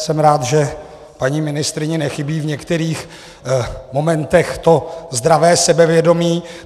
Jsem rád, že paní ministryni nechybí v některých momentech to zdravé sebevědomí.